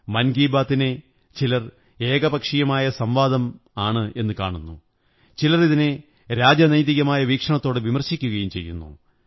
മന്കീര ബാത് നെ ചിലർ ഏകപക്ഷീയമായ സംവാദമെന്നു കാണുന്നു ചിലർ ഇതിനെ രാജനൈതികമായ വീക്ഷണത്തോടെ വിമര്ശിപക്കയും ചെയ്യുന്നു